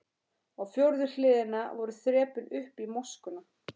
Á fjórðu hliðina voru þrepin upp í moskuna.